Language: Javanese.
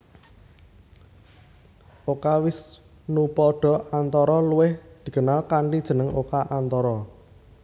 Oka Wisnupada Antara luwih dikenal kanthi jeneng Oka Antara